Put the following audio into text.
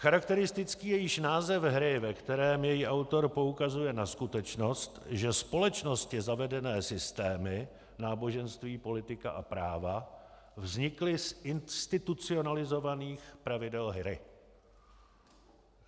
Charakteristický je již název hry, ve kterém její autor poukazuje na skutečnost, že společností zavedené systémy - náboženství, politika a práva - vznikly z institucionalizovaných pravidel hry.